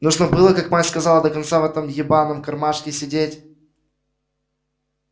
нужно было как мать сказала до конца в этом ебаном кармашке сидеть